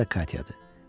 Adı da Katyadır.